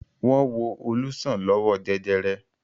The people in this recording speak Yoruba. Wọ́n wo Olú sàn lọ́wọ́ jẹjẹrẹ.